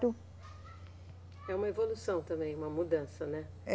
É uma evolução também, uma mudança, né? É